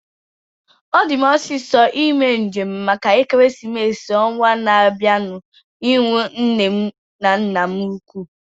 Ọ di m osisọ ime njem maka ekeresimesi ọnwaa na-abianu ihu nne na nna m ukwuu